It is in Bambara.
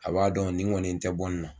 A b'a dɔn ni kɔni n tɛ bɔ in na.